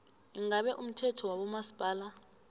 ingabe umthetho wabomasipala